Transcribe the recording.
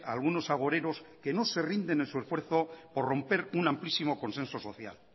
a algunos agoreros que no se rinden en su esfuerzo por romper un amplísimo consenso social